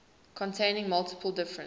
containing multiple different